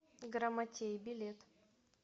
грамотей билет